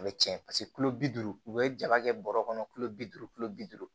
A bɛ tiɲɛ paseke tulo bi duuru u bɛ jaba kɛ bɔrɔ kɔnɔ bi duuru kilo bi duuru